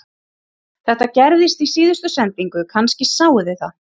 Þetta gerðist í síðustu sendingu, kannski sáuð þið það